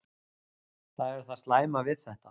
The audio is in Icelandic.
Það er það slæma við þetta.